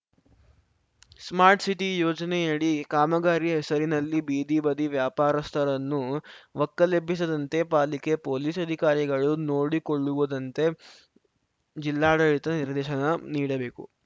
smart city ಯೋಜನೆಯಡಿ ಕಾಮಗಾರಿ ಹೆಸರಿನಲ್ಲಿ ಬೀದಿ ಬದಿ ವ್ಯಾಪಾರಸ್ಥರನ್ನು ಒಕ್ಕಲೆಬ್ಬಿಸದಂತೆ ಪಾಲಿಕೆ ಪೊಲೀಸ್‌ ಅಧಿಕಾರಿಗಳು ನೋಡಿಕೊಳ್ಳುವುದಂತೆ ಜಿಲ್ಲಾಡಳಿತ ನಿರ್ದೇಶನ ನೀಡಬೇಕು